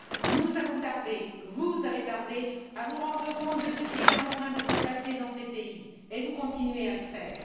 Nous avons tardé, vous avez tardé à vous rendre compte de ce qui était en train de se passer dans ces pays et vous continuez à le faire.